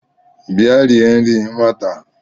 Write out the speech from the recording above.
Bịa rie nri nwata a